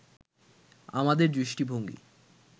আমাদের দৃষ্টিভঙ্গী